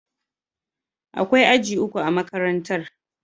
Akwai aji uku a makarantar.